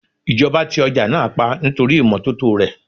Ìjọba ti ọjà náà pa nítorí ìmọ́tótó rè.